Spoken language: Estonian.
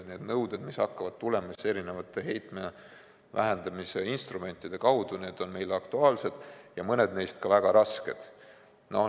Need nõuded, mis hakkavad tulema erinevate heitmevähenduse instrumentide kaudu, on aktuaalsed ja mõned neist on ka väga rasked.